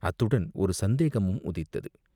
அத்துடன் ஒரு சந்தேகமும் உதித்தது.